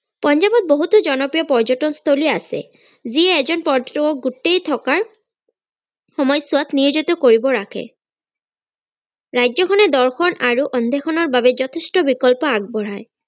পঞ্জাৱত বহুতো জনপ্ৰিয় পৰ্যতনস্থলী আছে যি এজন পৰ্যতকক গোটেই থকাৰ সময়ছোৱাত নিয়োজিত কৰিব ৰাখে ৰাজ্যখনে দৰ্শন আৰু অন্বেষনৰ বাবে যথেষ্ট বিকল্প আগবঢ়াই।